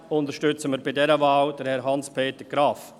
Ausserdem unterstützen wir bei dieser Wahl Herrn Hans Peter Graf.